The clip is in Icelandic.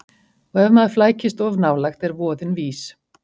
Og ef maður flækist of nálægt er voðinn vís.